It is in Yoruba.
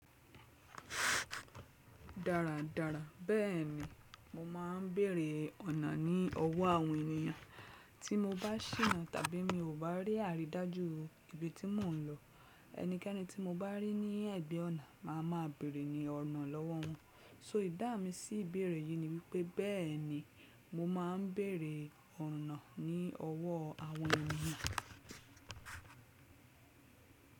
Dáradára bẹ́ẹ̀ni, mo ma ń bèrè ọ̀nà ní ọwọ́ àwọn ènìyàn. Tí mo bá síná tàbí mi ò bá rí àrídájú ibi tí mò ń lọ, ẹnikẹ́ni tí mo bá rí ní ẹ̀gbẹ́ ọ̀nà màá ma beèrè ọ̀nà lọ́wọ́ wọn. So danu mi sí ìbẹ̀rẹ̀ yìí ni wípé bẹ́ẹ̀ni mo ma ń bèrè ọ̀nà ní ọwọ́ àwọn ènìyàn.